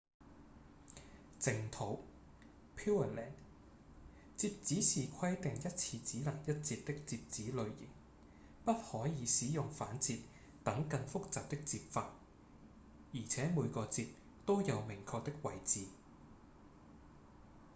淨土 pureland 摺紙是規定一次只能一摺的摺紙類型不可以使用反摺等更複雜的摺法而且每個摺都有明確的位置